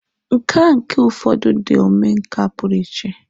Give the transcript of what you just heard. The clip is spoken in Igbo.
Nkà nke ụfọdụ ndị omenkà pụrụ iche.